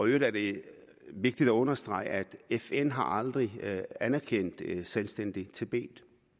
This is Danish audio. øvrigt er det vigtigt at understrege at fn aldrig har anerkendt et selvstændigt tibet